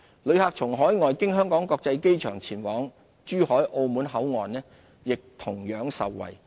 旅客從海外經香港國際機場前往珠海、澳門口岸亦同樣受惠。